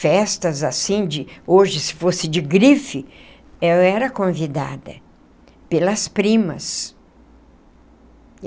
festas assim de, hoje se fosse de grife, eu era convidada pelas primas.